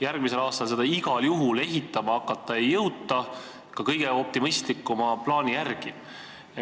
Järgmisel aastal seda igal juhul ehitama hakata ei jõuta, ka kõige optimistlikuma plaani järgi mitte.